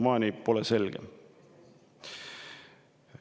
Siiamaani pole see selge.